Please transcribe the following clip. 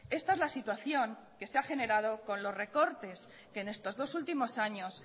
esta es la situación que se ha generado con los recortes que en estos dos últimos años